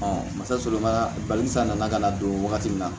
musaka balisa nana ka na don wagati min na